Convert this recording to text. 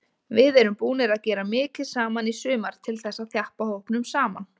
Við erum búnir að gera mikið saman í sumar til þess að þjappa hópnum saman.